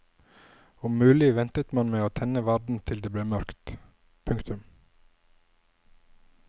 Om mulig ventet man med å tenne varden til det ble mørkt. punktum